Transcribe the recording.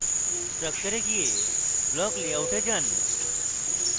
structure এ go block layout এ যান